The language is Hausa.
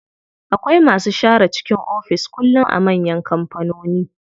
Akwai masu share cikin ofis kullum a manyan kampanoni.